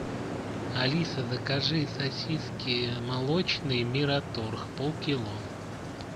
алиса закажи сосиски молочные мираторг полкило